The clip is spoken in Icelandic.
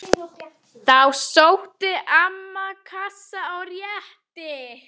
Þá sótti amman kassa og rétti